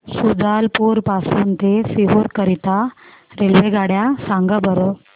शुजालपुर पासून ते सीहोर करीता रेल्वेगाड्या सांगा बरं